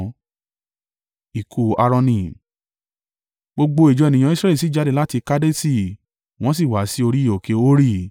Gbogbo ìjọ ènìyàn Israẹli sì jáde láti Kadeṣi wọ́n sì wá sí orí òkè Hori.